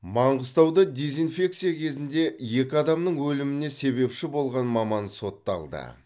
маңғыстауда дезинфекция кезінде екі адамның өліміне себепші болған маман сотталды